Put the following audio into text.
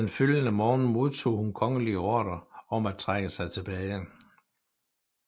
Den følgende morgen modtog hun kongelige ordrer om at trække sig tilbage